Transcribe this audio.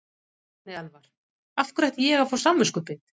Árni Elvar: Af hverju ætti ég að fá samviskubit?